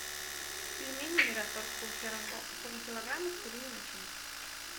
пельмени мираторг полкилограмма с куриной начинкой